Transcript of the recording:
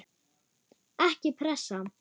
Ekki pressa!